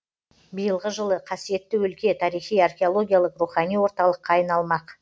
биылғы жылы қасиетті өлке тарихи археологиялық рухани орталыққа айналмақ